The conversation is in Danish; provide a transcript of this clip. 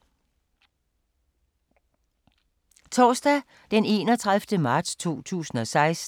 Torsdag d. 31. marts 2016